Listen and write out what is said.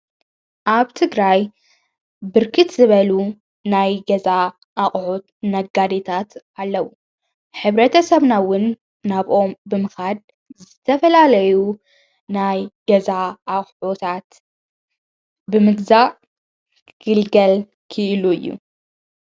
ኣብቲ ግራይ ብርክት ዝበሉ ናይ ገዛ ኣቕሑት ነጋዴታት ኣለዉ ኅብረተ ሰብናውን ናብኦም ብምኻድ ዘተፈላለዩ ናይ ገዛ ኣታት ብምግዛእ ግልገል ኪኢሉ እዩ።